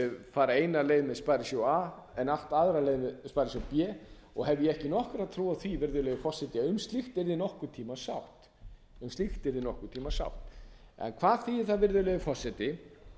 fara eina leið með sparisjóð a en allt aðra leið með sparisjóð b og hef ég ekki nokkra ár á því virðulegi forseti að um slíkt yrði nokkurn tíma sátt hvað þýðir það virðulegi forseti